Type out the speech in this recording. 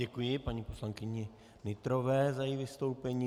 Děkuji paní poslankyni Nytrové za její vystoupení.